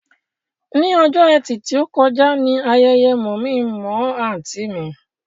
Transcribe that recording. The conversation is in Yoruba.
Ní ọjọ́ ẹtì tí ó kọjá ni ayẹyẹ mọ̀-mí-n-mọ̀-ọ́ àǹtí mi